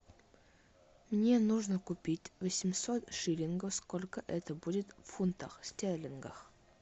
мне нужно купить восемьсот шиллингов сколько это будет в фунтах стерлингах